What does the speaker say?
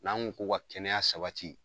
N'an ko ko ka kɛnɛya sabati